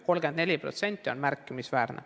34% on märkimisväärne.